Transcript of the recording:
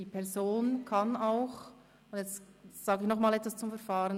Ich sage nochmals etwas zum Verfahren: